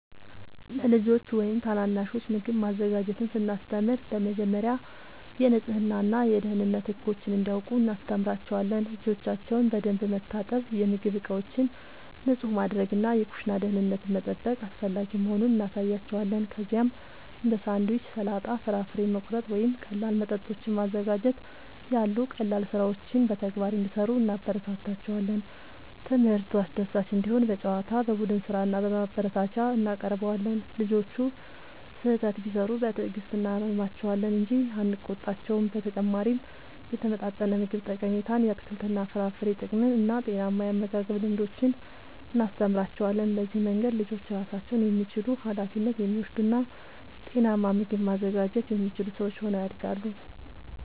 ለልጆች ወይም ታናናሾች ምግብ ማዘጋጀትን ስናስተምር በመጀመሪያ የንጽህና እና የደህንነት ህጎችን እንዲያውቁ እናስተምራቸዋለን። እጆቻቸውን በደንብ መታጠብ፣ የምግብ ዕቃዎችን ንጹህ ማድረግ እና የኩሽና ደህንነትን መጠበቅ አስፈላጊ መሆኑን እናሳያቸዋለን። ከዚያም እንደ ሳንድዊች፣ ሰላጣ፣ ፍራፍሬ መቁረጥ ወይም ቀላል መጠጦችን ማዘጋጀት ያሉ ቀላል ሥራዎችን በተግባር እንዲሠሩ እናበረታታቸዋለን። ትምህርቱ አስደሳች እንዲሆን በጨዋታ፣ በቡድን ሥራ እና በማበረታቻ እናቀርበዋለን። ልጆቹ ስህተት ቢሠሩ በትዕግሥት እናርማቸዋለን እንጂ አንቆጣቸውም። በተጨማሪም የተመጣጠነ ምግብ ጠቀሜታን፣ የአትክልትና የፍራፍሬ ጥቅምን እና ጤናማ የአመጋገብ ልምዶችን እናስተምራቸዋለን። በዚህ መንገድ ልጆች ራሳቸውን የሚችሉ፣ ኃላፊነት የሚወስዱ እና ጤናማ ምግብ ማዘጋጀት የሚችሉ ሰዎች ሆነው ያድጋሉ።